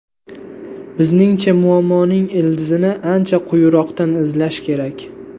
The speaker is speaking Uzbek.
Bizningcha, muammoning ildizini ancha quyiroqdan izlash kerak.